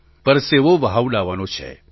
પરસેવો વહાવડાવવાનો છે